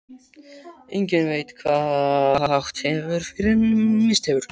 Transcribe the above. Enginn veit hvað átt hefur fyrr en misst hefur.